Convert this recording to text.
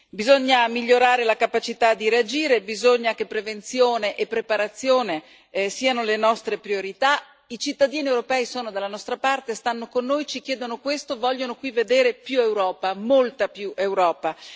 Bisogna migliorare la capacità di reagire, bisogna che prevenzione e preparazione siano le nostre priorità. I cittadini europei sono dalla nostra parte, stanno con noi, ci chiedono questo, vogliono qui vedere più Europa, molta più Europa.